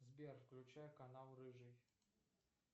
сбер включай канал рыжий